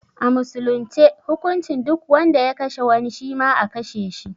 A musulunce hukuncin duk wanda ya kashe wani, shima a kashe shi.